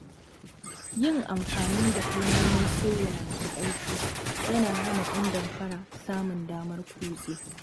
Yin amfani da kalmomin sirri masu ƙarfi yana hana ‘yan damfara samun damar kutse.